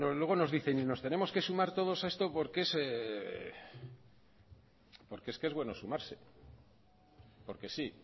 luego nos dicen y nos tenemos que sumar todos a esto porque es que es bueno sumarse porque sí